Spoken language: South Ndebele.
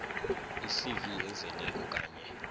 icv ezeleko kanye